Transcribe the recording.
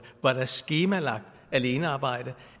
var der skemalagt alenearbejde